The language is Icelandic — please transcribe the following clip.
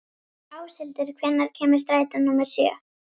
Áshildur, hvenær kemur strætó númer sjö?